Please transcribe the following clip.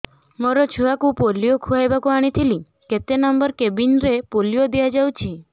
ମୋର ଛୁଆକୁ ପୋଲିଓ ଖୁଆଇବାକୁ ଆଣିଥିଲି କେତେ ନମ୍ବର କେବିନ ରେ ପୋଲିଓ ଦିଆଯାଉଛି